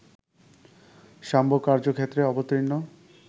শাম্ব কার্যক্ষেত্রে অবতীর্ণ